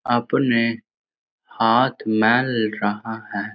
आपने हाथ मेल रहा है ।